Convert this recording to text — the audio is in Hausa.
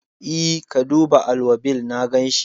E, ka duba alwabil, na ganshi.